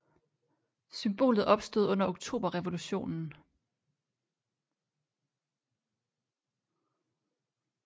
Symbolet opstod under oktoberrevolutionen